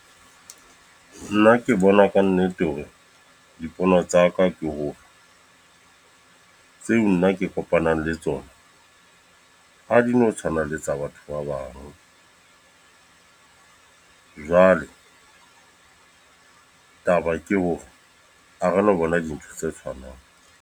Nna ke bona ka nnete horedipono tsa ka ke hore, tseo nna ke kopanang le tsona. Ha di no tshwana le tsa batho ba bang. Jwale taba ke hore, a re lo bona dintho tse tshwanang.